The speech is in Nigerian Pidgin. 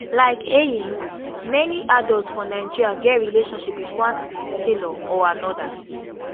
like heyink many adults for nigeria get relationship wit one tailor or anoda